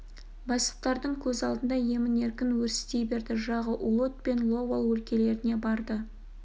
бастықтардың көз алдында емін-еркін өрістей берді жағы улуд пен ловал өлкелеріне барды